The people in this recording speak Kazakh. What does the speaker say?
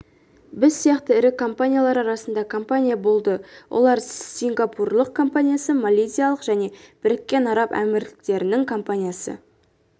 біз сияқты ірі компаниялар арасында компания болды олар сингапурлық компаниясы малайзиялық және біріккен араб әмірліктерінің компаниясы